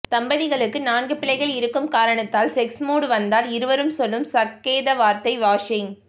தம்பதிகளுக்கு நான்கு பிள்ளைகள் இருக்கும் காரணத்தால் செக்ஸ் மூட் வந்தால் இருவரும் சொல்லும் சக்கேதவார்த்தை வாஷிங்